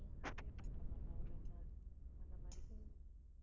stay பண்ற மாதிரி தான் ஒரு இரண்டு நாள் அந்த மாதிரி